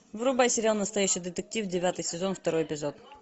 врубай сериал настоящий детектив девятый сезон второй эпизод